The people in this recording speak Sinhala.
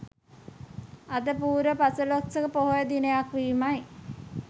අද පුරපසළොස්වක පොහොය දිනයක් වීමයි.